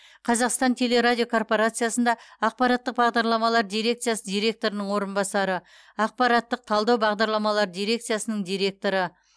қазақстан теле радио корпорациясында ақпараттық бағдарламалар дирекциясы директорының орынбасары ақпараттық талдау бағдарламалары дирекциясының директоры